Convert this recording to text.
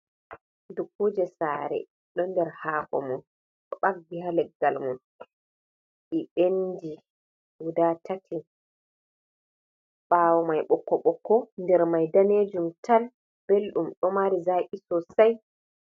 Dukkuje saare ɗon nder hakomum, ɗo ɓakki haa leggalmun ɗi ɓenndi guda tati, ɓaawo mai ɓokko-ɓokko der mai danejum tal belɗum ɗo mari zaki sosai.